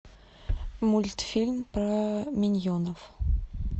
мультфильм про миньонов